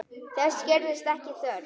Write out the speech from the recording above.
Þess gerðist ekki þörf.